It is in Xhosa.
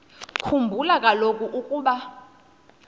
khumbula kaloku ukuba